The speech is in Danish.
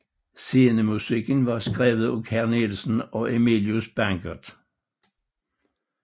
Scenemusikken var skrevet af Carl Nielsen og Emilius Bangert